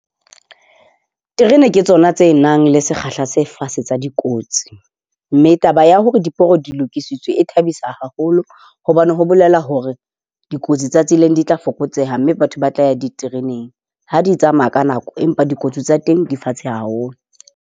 Terene ke tsona tse nang le sekgahla se fatshe sa dikotsi, mme taba ya hore diporo di lokisitswe e thabisa haholo hobane ho bolela hore dikotsi tsa tseleng di tla fokotseha, mme batho ba tla ya ditereneng ha di tsamaya ka nako. Empa dikotsi tsa teng di fatshe haholo.